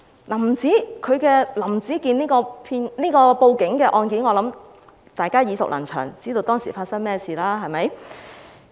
我想大家都對"林子健報警案"耳熟能詳，知道當時發生了甚麼事。